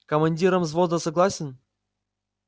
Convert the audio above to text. командиром взвода согласен